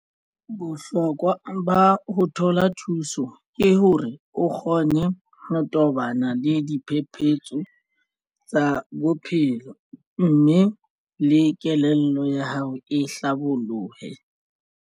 Bohlokwa ba ho thola thuso ke hore o kgone ho tobana le diphephetso tsa bophelo, mme le kelello ya hao e hlabolohe.